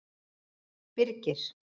Birgir